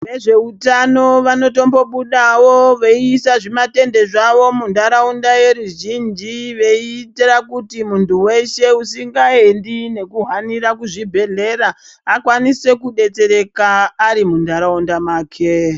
Vezvehutano vanotombudaao veisa zvimarende zvavo mundaraunda yeruzhinji veita kuti muntu usinganendi nekuhanira kuzvibhedhlera akwanise kudetsereka ari mundaraunda make.